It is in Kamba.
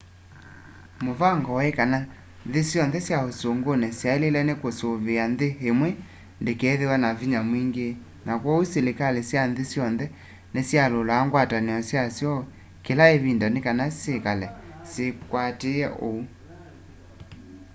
mũvango wai kana nthĩ syonthe sya ũsũngũnĩ syaĩlĩlwe nĩ kũsiĩa nthĩ ĩmwe ndĩkethĩwe na vinya mwingĩ na kwoou silikalĩ sya nthĩ syonthe nĩsyalyũlaa ngwatanĩo syasyo kĩla ĩvinda nĩkana syĩkale sikwatĩĩe ũu